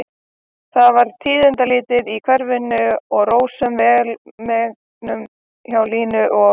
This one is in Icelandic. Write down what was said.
Það var tíðindalítið í hverfinu og rósöm velmegun hjá Línu og